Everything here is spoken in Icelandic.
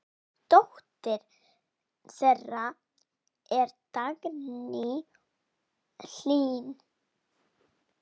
Dóttir þeirra er Dagný Hlín.